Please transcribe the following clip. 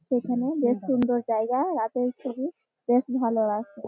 সেখানে বেশ সুন্দর জায়গা রাতের ছবি বেশ ভালো লাগছে।